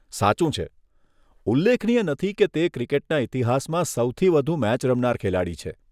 સાચું છે. ઉલ્લેખનીય નથી કે તે ક્રિકેટના ઈતિહાસમાં સૌથી વધુ મેચ રમનાર ખેલાડી છે.